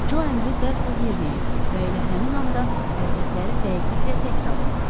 Co əmri dərhal yerinə yetirdi və elə həmin anda hərəkətləri dəqiqliklə təkrar olundu.